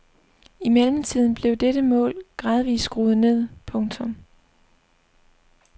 I mellemtiden blev dette mål gradvist skruet ned. punktum